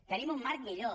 tenim un marc millor